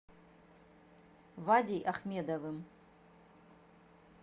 вадей ахмедовым